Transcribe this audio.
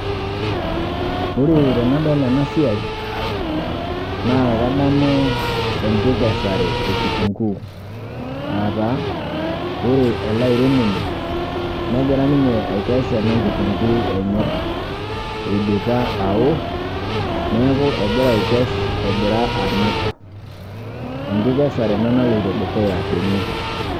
Ore tenadol enasiai naakadamuu enkikesare ekitunguu aataa ore eleairemoni negira ninye aikes enakitunguu enye eidipa awo, neaku egira aikes egira anap. Enkikesare ena naloito dukuya tene.